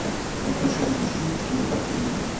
покажи мне фильм трио в перьях